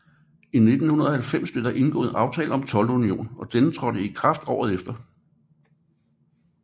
I 1990 blev det indgået aftale om toldunion og denne trådte i kraft året efter